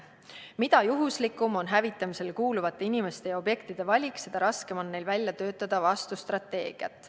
Mida juhuslikum on hävitamisele kuuluvate inimeste ja objektide valik, seda raskem on neil välja töötada vastustrateegiat.